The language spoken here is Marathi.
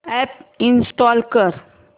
अॅप इंस्टॉल कर